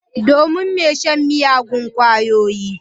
Domin mai shan miyagun kwayoyi.